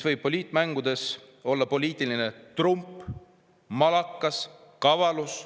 Poliitmängudes võib see olla poliitiline trump, malakas, kavalus.